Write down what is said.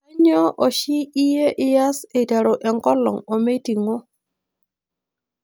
Kanyio oshi iyie ias eiteru enkolong' omeiting'o?